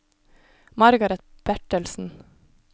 Margareth Bertelsen